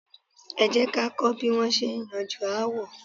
Ẹ jẹ́ ká kọ́ bí wón ṣe é yanjú aáwọ̀.